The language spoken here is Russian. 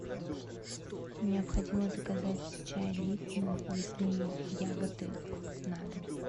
необходимо заказать чай липтон лесные ягоды на дом